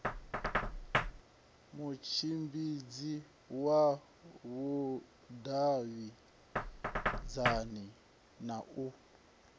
mutshimbidzi wa vhudavhidzani na u